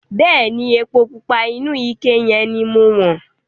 Bẹ̀ẹ́ni, epo pupa inú ike yẹn ni mo wọ̀n.